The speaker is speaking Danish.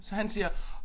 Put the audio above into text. Så han siger